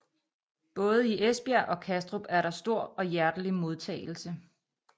Både i Esbjerg og Kastrup er der stor og hjertelig modtagelse